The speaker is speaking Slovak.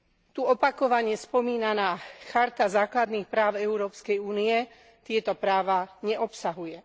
Tu opakovane spomínaná Charta základných práv Európskej únie tieto práva neobsahuje.